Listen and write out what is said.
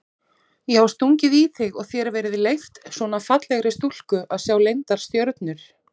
Já stungið í þig og þér verið leyft, svona fallegri stúlku að sjá leyndar stjörnur?